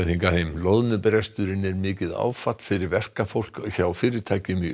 loðnubresturinn er mikið áfall fyrir verkafólk hjá fyrirtækjum í